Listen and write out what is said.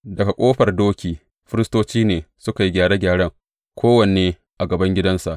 Daga Ƙofar Doki, firistoci ne suka yi gyare gyaren, kowanne a gaban gidansa.